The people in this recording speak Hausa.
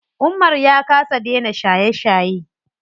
Umar ya kasa dena shaye shaye.